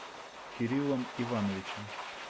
кириллом ивановичем